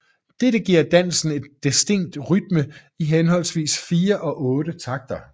Dette giver dansen en distinkt rytme i henholdsvis 4 og otte takter